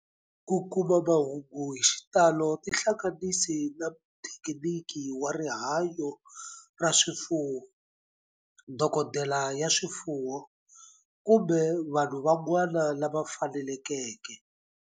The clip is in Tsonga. Ku kuma mahungu hi xitalo tihlanganisi na muthekiniki wa rihanyo ra swifuwo, dokodela ya swifuwo, kumbe vanhu van'wana lava fanelekeke.